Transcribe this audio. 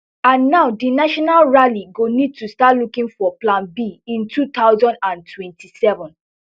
and now di national rally go need to start looking for plan b in two thousand and twenty-seven